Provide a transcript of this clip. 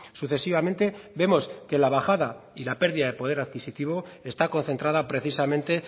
sucesivamente vemos que la bajada y la pérdida de poder adquisitivo está concentrada precisamente